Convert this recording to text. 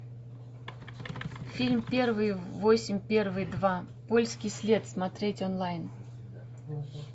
фильм первый восемь первый два польский след смотреть онлайн